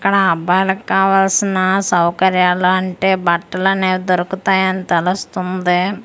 ఇక్కడ అబ్బాయిలకావాల్సిన సౌకర్యాలాంటి బట్టలనేవి దొరుకుతాయని తెలుస్తుంది.